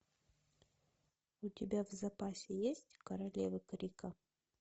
у тебя в запасе есть королевы крика